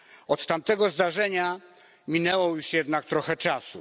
Od tamtego zdarzenia minęło już jednak trochę czasu.